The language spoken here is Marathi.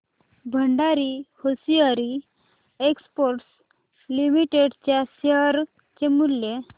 भंडारी होसिएरी एक्सपोर्ट्स लिमिटेड च्या शेअर चे मूल्य